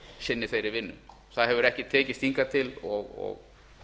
sinni þeirri vinnu það hefur ekki tekist hingað til og